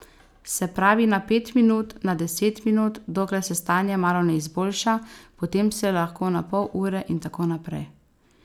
Se pravi na pet minut, na deset minut, dokler se stanje malo ne izboljša, potem se lahko na pol ure in tako naprej.